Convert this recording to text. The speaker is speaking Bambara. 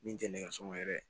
Min tɛ nɛgɛso yɛrɛ ye